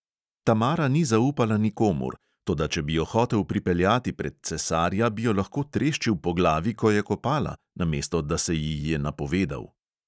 Tamara ni zaupala nikomur, toda če bi jo hotel pripeljati pred cesarja, bi jo lahko treščil po glavi, ko je kopala, namesto da se ji je napovedal.